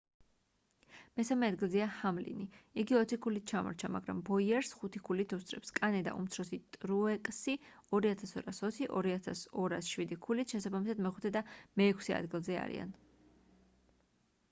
მესამე ადგილზეა ჰამლინი იგი ოცი ქულით ჩამორჩა მაგრამ ბოიერს ხუთი ქულით უსწრებს კანე და უმცროსი ტრუეკსი 2220 და 2207 ქულით შესაბამისად მეხუთე და მეექვსე ადგილზე არიან